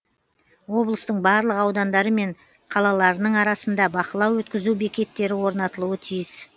облыстың барлық аудандары мен қалаларының арасында бақылау өткізу бекеттері орнатылуы тиіс